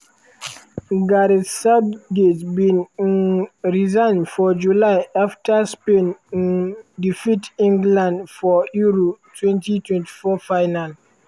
gareth southgate bin um resign for july afta spain um defeat england for euro 2024 final.